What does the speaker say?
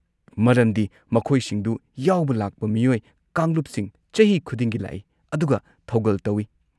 ꯃꯔꯝꯗꯤ ꯃꯈꯣꯏꯁꯤꯡꯗꯨ ꯌꯥꯎꯕ ꯂꯥꯛꯄ ꯃꯤꯑꯣꯏ ꯀꯥꯡꯂꯨꯞꯁꯤꯡ ꯆꯍꯤ ꯈꯨꯗꯤꯡꯒꯤ ꯂꯥꯛꯏ ꯑꯗꯨꯒ ꯊꯧꯒꯜ ꯇꯧꯏ꯫